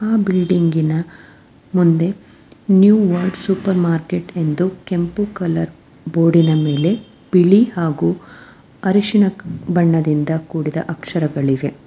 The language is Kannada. ಆ ಬಿಲ್ಡಿಂಗಿನ ಮುಂದೆ ನ್ಯೂ ವರ್ಡ್ ಸೂಪರ್ ಮಾರ್ಕೆಟ್ ಎಂದು ಕೆಂಪು ಕಲರ್ ಬೋರ್ಡಿನ ಮೇಲೆ ಬಿಳಿ ಹಾಗು ಹರಶಿನ ಬಣ್ಣದಿಂದ ಕೂಡಿದ ಅಕ್ಷರಗಳಿವೆ.